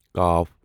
ق